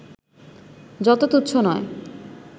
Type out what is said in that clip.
যত তু্চ্ছ নয়